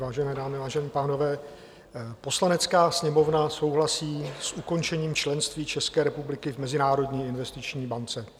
Vážené dámy, vážení pánové: "Poslanecká sněmovna souhlasí s ukončením členství České republiky v Mezinárodní investiční bance."